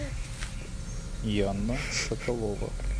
яна соколова